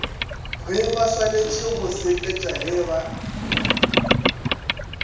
gebaswanetše go seketša ge ba